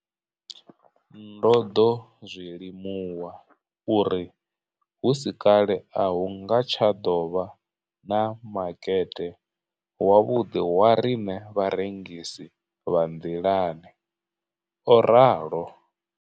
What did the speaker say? Ndo ḓo zwi limuwa uri hu si kale a hu nga tsha ḓo vha na makete wavhuḓi wa riṋe vharengisi vha nḓilani, o ralo.